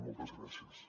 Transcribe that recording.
moltes gràcies